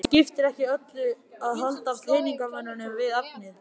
Það skiptir öllu að halda peningamönnunum við efnið.